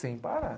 Sem parar.